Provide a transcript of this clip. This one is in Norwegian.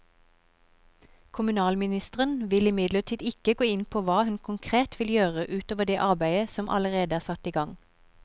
Kommunalministeren vil imidlertid ikke gå inn på hva hun konkret vil gjøre ut over det arbeidet som allerede er satt i gang.